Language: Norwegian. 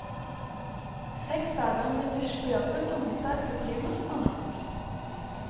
Seks dager med dusj på jobben og middag på primus er nok.